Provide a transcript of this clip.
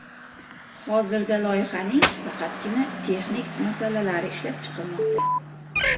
Hozirda loyihaning faqatgina texnik masalalari ishlab chiqilmoqda.